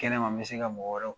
Kɛnɛ ma bɛ se ka mɔgɔ wɛrɛw